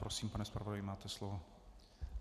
Prosím, pane zpravodaji, máte slovo.